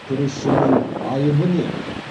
күрішшінің айыбы не